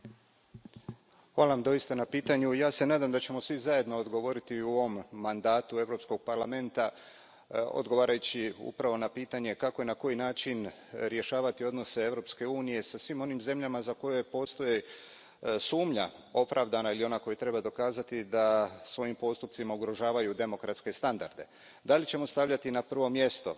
Poštovana predsjedavajuća, hvala Vam doista na pitanju i ja se nadam da ćemo svi zajedno odgovoriti u ovom mandatu Europskog parlamenta, odgovarajući upravo na pitanje kako i na koji način rješavati odnose Europske unije sa svim onim zemljama za koje postoji sumnja, opravdana ili ona koju treba dokazati, da svojim postupcima ugrožavaju demokratske standarde. Hoćemo li stavljati na prvo mjesto